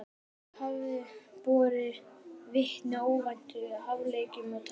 Þær hafi borið vitni ótvíræðum hæfileikum og tækni.